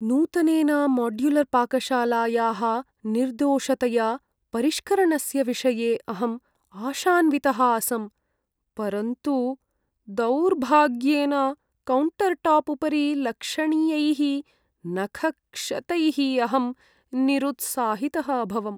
नूतनेन माड्युलर्पाकशालायाः निर्दोषतया परिष्करणस्य विषये अहम् आशान्वितः आसं, परन्तु दुौर्भाग्येन, कौण्टर्टाप् उपरि लक्षणीयैः नखक्षतैः अहं निरुत्साहितः अभवम्।